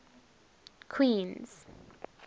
queens